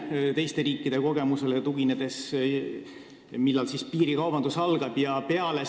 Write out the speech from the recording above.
Mida näitavad teiste riikide kogemused, millal piirikaubandus tekib?